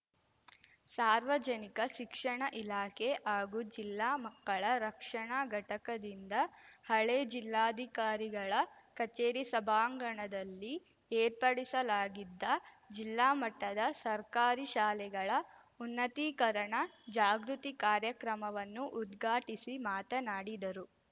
ಸಾರ್ವಜನಿಕ ಶಿಕ್ಷಣ ಇಲಾಖೆ ಹಾಗೂ ಜಿಲ್ಲಾ ಮಕ್ಕಳ ರಕ್ಷಣಾ ಘಟಕದಿಂದ ಹಳೆ ಜಿಲ್ಲಾಧಿಕಾರಿಗಳ ಕಚೇರಿ ಸಭಾಂಗಣದಲ್ಲಿ ಏರ್ಪಡಿಸಲಾಗಿದ್ದ ಜಿಲ್ಲಾ ಮಟ್ಟದ ಸರ್ಕಾರಿ ಶಾಲೆಗಳ ಉನ್ನತೀಕರಣ ಜಾಗೃತಿ ಕಾರ್ಯಕ್ರಮವನ್ನು ಉದ್ಘಾಟಿಸಿ ಮಾತನಾಡಿದರು